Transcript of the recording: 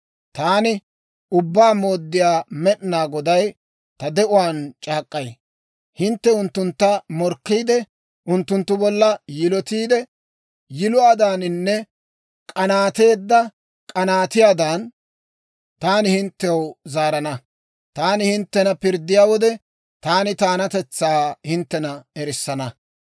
taani Ubbaa Mooddiyaa Med'inaa Goday ta de'uwaan c'aak'k'ay; hintte unttuntta morkkiide, unttunttu bolla yiloteedda yiluwaadaaninne k'anaateedda k'anaatiyaadan, taani hinttew zaarana. Taani hinttena pirddiyaa wode, Taani taanatetsaa hinttena erissana.